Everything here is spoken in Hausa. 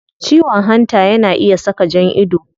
Ciwon hanta yana iya saka jan ido